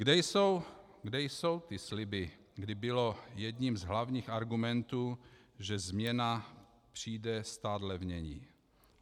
Kde jsou ty sliby, kde bylo jedním z hlavních argumentů, že změna přijde stát levněji?